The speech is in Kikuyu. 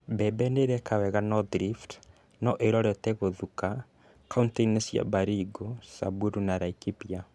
Mbembe nĩireka wega North Rift no irorete gũthũka kauntĩ-inĩ cia Baringo, Samburu, na Laikipia